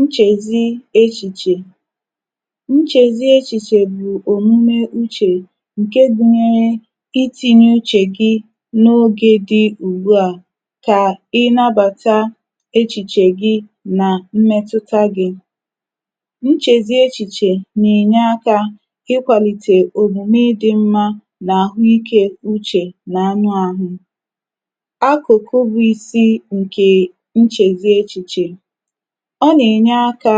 nchèzi echìchè. nchèzi echìchè bụ̀ òmume uchè ǹke gụnyẹrẹ itīnya uchè gị n’ogē dị̄ ùgbuà, kà ị nabàta echìchè gị nà mmẹtụta gị. nchèzi echìchè nà ènye akā ikwàlìtè òmùme ịdị̄ mmā, nà àhụikē uchè nà anụ ahụ. akụ̀kụ bụ isī ǹkè nchèzi echìchè. ọ nà ènye akā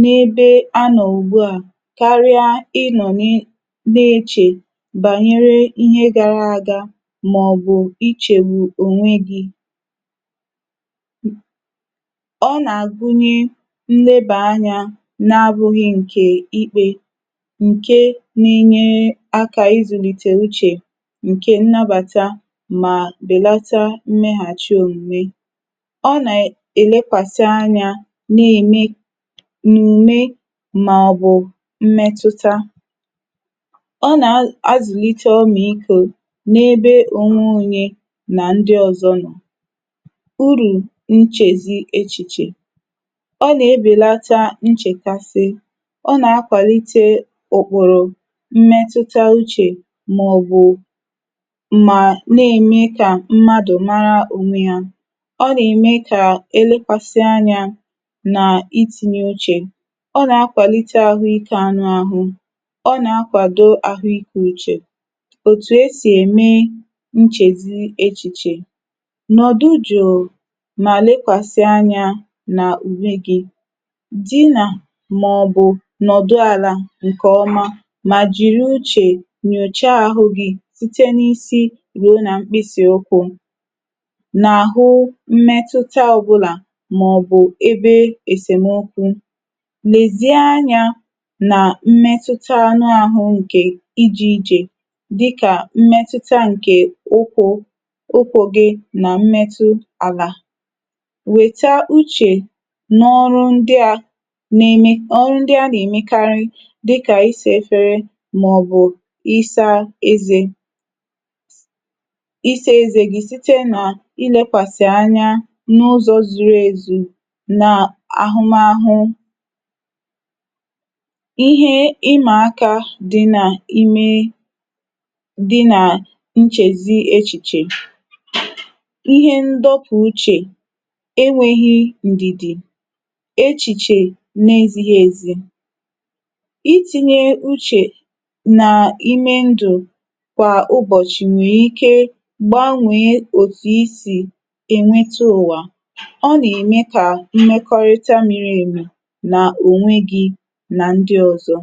n’ebe a nọ̀ ùgbu à karị aị nọ̀ na echè bànyere ihe gara aga, mà ọ̀ bụ̀ ichègbù ònwe gị̄. ọ nà àgunye nnebà anyā na abụghị ǹkè ikpē, ǹke na enyere akā izùlìte uchè, ǹkè nnabàta mà bèlata mmeghàchi òmùme. ọ nà ènekwàsị any anà òmùme, mà ọ̀ bụ̀ mmẹtụta. ọ nà azụ̀lite ọmàikō n’ebe ònwe onye nà ndị ọzọ nọ̀. urù nchèzi echìchè. ọ nà ebèlata nchèkasị. ọ nà akwàlite ọ̀kpọ̀lọ̀ mmẹtụta uchè, mà ọ̀ bụ̀ mà nà ème kà mmadù mara onwe yā. ọ nà ème kà elekwàsị anyā nà itīnye uchè. ọ nà akwàlite ahụikē anụ ahụ. ọ nà akwàdo ahụikē uchè. òtù e sì ème nchèzi echìchè. nọ̀dụ jụ̀ụ̀ mà lekwàsị anyā nà òmùme gị. dịnà mà ọ̀ nọ̀dụ àlà ǹkè ọma, mà jìri uchè nyòcha ahụ gị, site n’isi ruo nà mkpịsị̀ ukwū, n’àhụ mmẹtụta ọbụnà, mà ọ̀ bụ̀ ebe èsèmokwu. nèzie any anà mmẹtụta ahụ ǹkè ijī ichè, dịkà mmẹtụta ǹkè ụkwụ̄, ụkwụ̄ gị, nà mmẹtụ àlà. wẹ̀ta uchè n’ọrụ ndịa na eme, ọrụ ndị a nà èmekarị, dịkà ịsā efere, mà ọ̀ bụ̀ isā eze, ịsā ezē gị site nà ịlẹkwàsị̀ anya n’ụzọ zuru èzì nà àhụmahụ. ihe ịmà akā dị nà ime dị nà nchèzi echìchè. ihe ndọpụ̀ uchè, e nwēghi ǹdìdì, echìchè na ezighī èzì. itīnye uchè na ime ndụ̀ kwà ụbọ̀chị̀ nwẹ̀rẹ ike gbanwèe òtù I sì èmetu ụ̀wà. o nà ẹmẹ kà mmẹkọrịta miri èmì nà ònwe gị, nan dị ọ̀zọ.